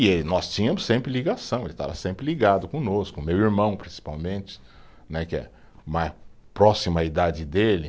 E nós tínhamos sempre ligação, ele estava sempre ligado conosco, meu irmão principalmente né, que é uma ,próximo à idade dele.